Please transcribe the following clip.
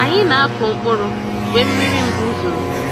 Anyị n'akụ mkpụrụ mgbe mmiri mbu zoro.